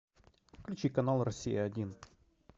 включи канал россия один